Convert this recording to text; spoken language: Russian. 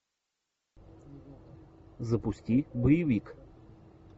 запусти боевик